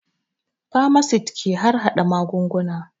Famasit ke harhaɗa magunguna